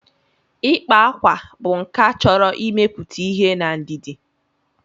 Ịkpa akwa bụ nkà chọrọ imepụta ihe na ndidi.